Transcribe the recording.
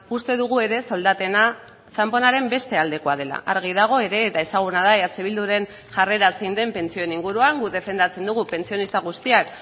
uste dugu ere soldatena txanponaren beste aldekoa dela argi dago ere eta ezaguna da eh bilduren jarrera zein den pentsioen inguruan guk defendatzen dugu pentsionista guztiak